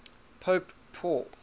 pope paul